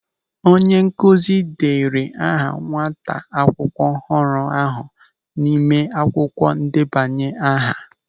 Onye nkụzi dere aha nwata akwụkwọ ọhụrụ ahụ n'ime akwụkwọ ndebanye aha.